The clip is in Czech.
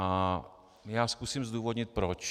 A já zkusím zdůvodnit proč.